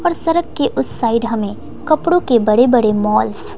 और सड़क के उस साइड हमें कपड़ों के बड़े बड़े मॉल्स --